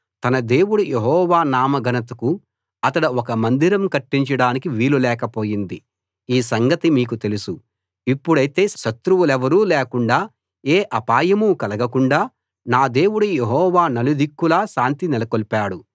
తన దేవుడు యెహోవా నామ ఘనతకు అతడు ఒక మందిరం కట్టించడానికి వీలు లేకపోయింది ఈ సంగతి మీకు తెలుసు ఇప్పుడైతే శత్రువులెవరూ లేకుండా ఏ అపాయమూ కలగకుండా నా దేవుడు యెహోవా నలుదిక్కులా శాంతి నెలకొల్పాడు